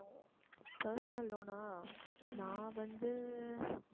personal loan ஆ நான் வந்து